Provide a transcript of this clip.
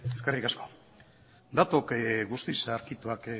eskerrik asko datu guztiz zaharkituak